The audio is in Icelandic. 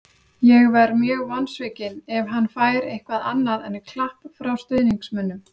Ég verð mjög vonsvikinn ef hann fær eitthvað annað en klapp frá stuðningsmönnum.